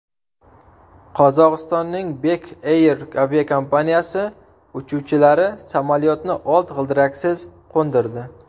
Qozog‘istonning Bek Air aviakompaniyasi uchuvchilari samolyotni old g‘ildiraksiz qo‘ndirdi .